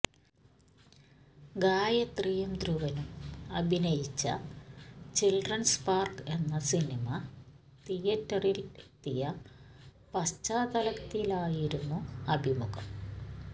ഗായത്രിയും ധ്രുവനും അഭിനയിച്ച children's park എന്ന സിനിമ തിയേറ്ററിൽ എത്തിയ പശ്ചാത്തലത്തിലായിരുന്നു അഭിമുഖം